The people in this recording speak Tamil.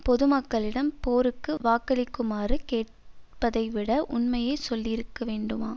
பொதுமக்களிடம் போருக்கு வாக்களிக்குமாறு கேட்பதைவிட உண்மையை சொல்லி இருக்கவேண்டாமா